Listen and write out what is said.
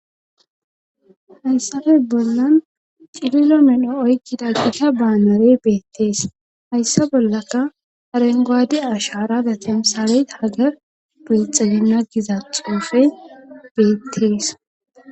hayssafe bollan cililo medho oykkida gita baanarey beettees hayssa bollaka arengoadi asharada temsalet hagar beexege na giza xuufey beettees